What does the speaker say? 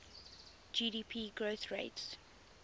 gdp growth rates